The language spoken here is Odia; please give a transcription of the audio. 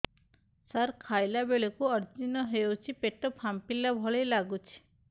ସାର ଖାଇଲା ବେଳକୁ ଅଜିର୍ଣ ହେଉଛି ପେଟ ଫାମ୍ପିଲା ଭଳି ଲଗୁଛି